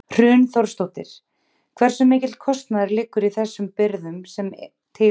Hrun Þórsdóttir: Hversu mikill kostnaður liggur í þessum birgðum sem til eru?